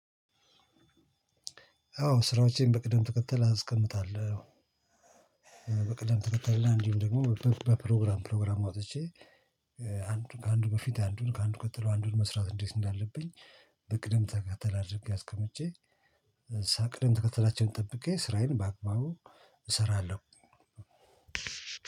አዎ ስራዎቼን በቅደም ተከተል አስቀምጣለው። በቅደም ተከተል እንዲሁም ደግሞ በፕሮግራም ፕሮግራም አውጥቼ አንዱ ከአንዱ በፊት አንዱን ከአንዱ ቀጥሎ አንዱን መስራት እንዴት እንዳለብኝ በቅደም ተከተል አድርጌ አስቀምጬ ከዛ ቅደም ተከታተላቸውን ጠብቄ ስራዬን በአግባቡ እሰራለሁ